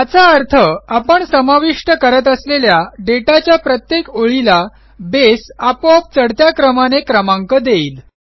याचा अर्थ आपण समाविष्ट करत असलेल्या दाता च्या प्रत्येक ओळीला बेस आपोआप चढत्या क्रमाने क्रमांक देईल